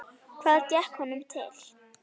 Hvað gekk honum til?